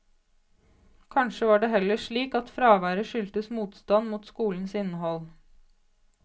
Kanskje var det heller slik at fraværet skyldtes motstand mot skolens innhold.